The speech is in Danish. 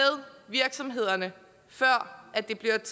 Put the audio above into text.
virksomhederne før det bliver